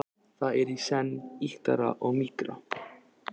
Það er í senn ýktara og mýkra.